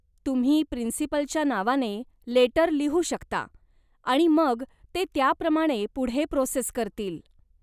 तुम्ही प्रिन्सिपलच्या नावाने लेटर लिहू शकता आणि मग ते त्याप्रमाणे पुढे प्रोसेस करतील.